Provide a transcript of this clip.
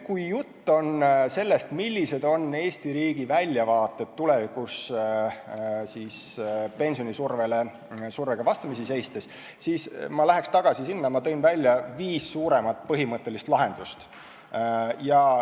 Kui jutt on sellest, millised on Eesti riigi väljavaated tulevikus pensionisurvega vastamisi seistes, siis ma läheks tagasi selle juurde, et ma nimetasin viis suuremat põhimõttelist lahendust.